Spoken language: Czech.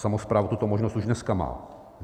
Samospráva tuto možnost už dneska má.